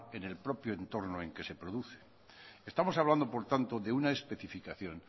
en el propio entorno en que se produce estamos hablando por tanto de una especificación